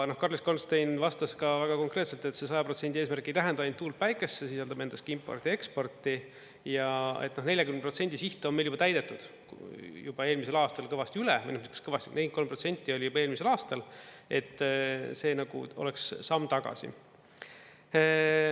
Karlis Goldstein vastas ka väga konkreetselt, et see 100% eesmärk ei tähenda ainult tuult, päikest, see sisaldab endas ka importi-eksporti ja et 40% siht on meil juba täidetud, juba eelmisel aastal kõvasti üle, 43% oli juba eelmisel aastal, et see nagu oleks oleks samm tagasi.